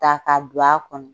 Ta ka don a kɔnɔ.